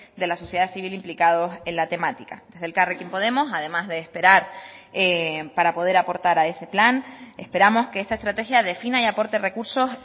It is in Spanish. de la sociedad civil implicados en la temática desde elkarrekin podemos además de esperar para poder aportar a ese plan esperamos que esta estrategia defina y aporte recursos